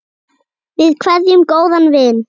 Við kveðjum góðan vin.